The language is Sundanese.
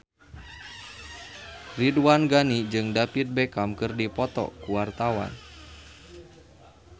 Ridwan Ghani jeung David Beckham keur dipoto ku wartawan